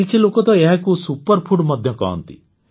କିଛି ଲୋକ ତ ଏହାକୁ ସୁପରଫୁଡ଼ ମଧ୍ୟ କହନ୍ତି